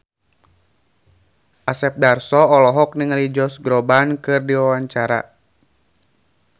Asep Darso olohok ningali Josh Groban keur diwawancara